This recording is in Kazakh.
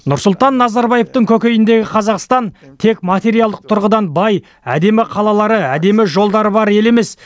нұрсұлтан назарбаевтың көкейіндегі қазақстан тек материалдық тұрғыдан бай әдемі қалалары әдемі жолдары бар ел емес